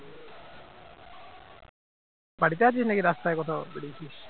বাড়িতে আছিস নাকি রাস্তায় কোথাও বেরিয়েছিস